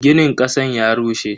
Ginin kasan ya rushe.